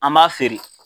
An b'a feere